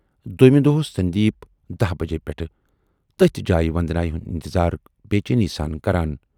دویمہِ دۅہہ اوس سندیپ دٔہہِ بجہِ پٮ۪ٹھٕے تٔتھۍ جایہِ وندنایہِ ہُند اِنتظار بے چینی سان کران۔